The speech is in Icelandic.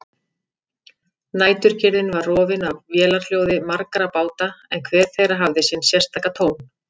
Næturkyrrðin var rofin af vélarhljóði margra báta en hver þeirra hafði sinn sérstaka tón.